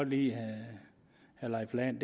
lide herre leif lahn